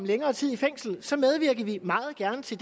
længere tid i fængsel så medvirker vi meget gerne til